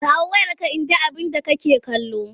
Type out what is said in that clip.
Kawo wayarka in ga abinda make kallo!